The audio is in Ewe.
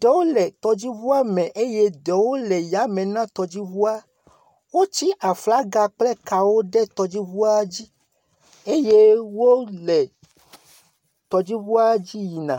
ɖewo le tɔdziʋua me eye ɖewo le yame na tɔdziʋua woti aflaga kple kawo ɖe tɔdziʋua dzi eye wole tɔdziʋua dzi yina